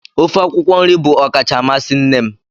Ofe akwụkwọ nri bụ ọkacha amasị nne m.